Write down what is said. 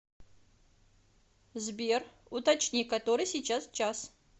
сбер уточни который сейчас час